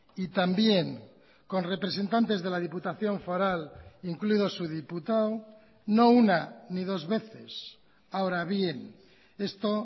y también con representantes de la diputación foral incluido su diputado no una ni dos veces ahora bien esto